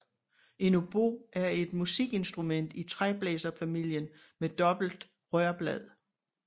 En obo er et musikinstrument i træblæserfamilien med dobbelt rørblad